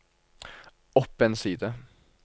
opp en side